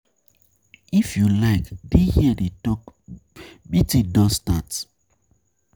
If you like dey here dey talk meeting don start.